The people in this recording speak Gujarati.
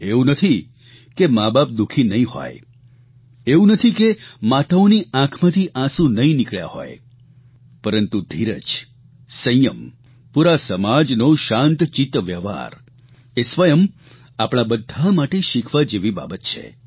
એવું નથી કે માબાપ દુઃખી નહીં હોય એવું નથી કે માતાઓની આંખમાંથી આંસું નહિં નિકળ્યા હોય પરંતુ ધીરજ સંયમ પૂરા સમાજનો શાંત ચિત્ત વ્યવહાર એ સ્વયં આપણા બધા માટે શીખવા જેવી બાબત છે